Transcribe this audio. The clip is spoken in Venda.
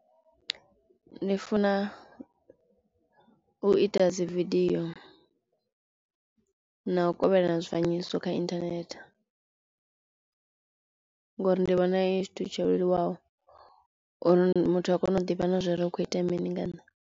Ni funa u ita dzividio na u kovhelana zwifanyiso kha internet ngori ndi vhona hu tshithu tsho leluwaho uri muthu a kone u ḓivha na zwori hukho itea mini nga nṋe.